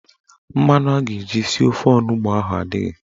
Mmanụ a ga-eji sie ofe onugbo a adịghị.